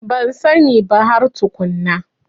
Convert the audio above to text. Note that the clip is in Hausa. Ban sani ba har tukunna.